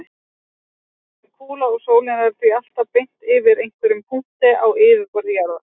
Jörðin er kúla og sólin er því alltaf beint yfir einhverjum punkti á yfirborði jarðar.